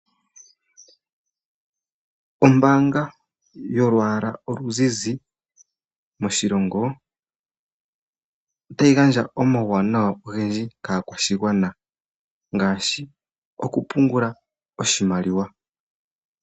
Ombaanga yolwaala oluzizi moshilongo ota yi gandja omauwanawa ogendji koshilongo ngaashi okupungula oshimaliwa